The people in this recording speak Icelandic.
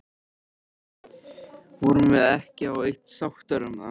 Vorum við ekki á eitt sáttar um það?